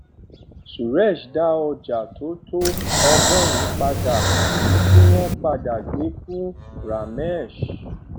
suresh dá ọjà tó tó ọgọrùnún padà èyí tí wọn padà gbé fún ramesh